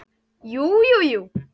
Jú, jú, jú.